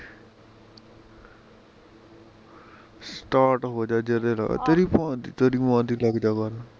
start ਹੋਜਾਂ ਆਹ ਜਦੇ ਲਗਜਾ ਤੇਰੀ ਭੈਣ ਦੀ ਤੇਰੀ ਮਾਂ ਦੀ ਲਖਜਾ ਬਾਹਰ ਨੂ